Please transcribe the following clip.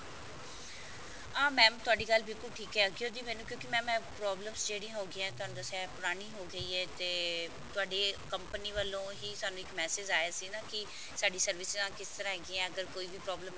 ਆਹ mam ਤੁਹਾਡੀ ਗੱਲ ਬਿਲਕੁਲ ਠੀਕ ਹੈ ਕਿਉਕਿ ਮੈਨੂੰ ਕਿਉਂਕਿ mam ਇਹ problems ਜਿਹੜੀਆਂ ਹੋਗੀਆਂ ਤੁਹਾਨੂੰ ਦੱਸਿਆ ਇਹ ਪੁਰਾਣੀ ਹੋ ਗਈ ਹੈ ਤੇ ਤੁਹਾਡੇ company ਵੱਲੋਂ ਹੀ ਸਾਨੂੰ ਇੱਕ message ਆਇਆ ਸੀ ਨਾ ਕਿ ਸਾਡੀ service ਕਿਸ ਤਰ੍ਹਾਂ ਕਿਸ ਤਰ੍ਹਾਂ ਹੈਗੀਆਂ ਅਗਰ ਕੋਈ ਵੀ problem